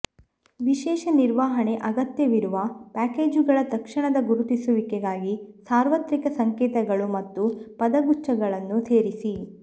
ವಿಶೇಷ ನಿರ್ವಹಣೆ ಅಗತ್ಯವಿರುವ ಪ್ಯಾಕೇಜುಗಳ ತಕ್ಷಣದ ಗುರುತಿಸುವಿಕೆಗಾಗಿ ಸಾರ್ವತ್ರಿಕ ಸಂಕೇತಗಳು ಮತ್ತು ಪದಗುಚ್ಛಗಳನ್ನು ಸೇರಿಸಿ